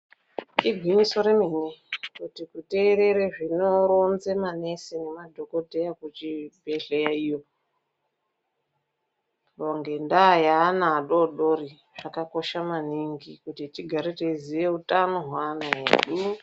Igwinyiso remene, kuti kuteerere zvinoronze manesi nemadhokodheya kuzvibhedhlera iyo. Ngendaa yeana adoodori, zvakakosha maningi. Kuti tigare teiziya utano hweana edu.